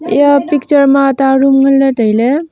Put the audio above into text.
iya picture ma ta room ngan ley tailey.